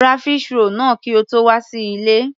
Ra fish roll náà kí o tó wà sí ilé.